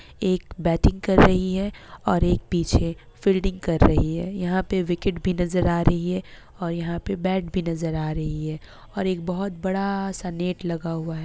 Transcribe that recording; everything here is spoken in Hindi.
एक बेटिंग कर रही है और एक पीछे फील्डिंग कर रही है। यहाँ पे विकेट भी नजर आ रही है। और यहाँ पे बेट भी नजर आ रही है। और एक बहुत बड़ा-सा नेट लगा हुआ है।